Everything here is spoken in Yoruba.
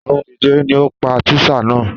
Àrùn jejere ni ó pa tísà náà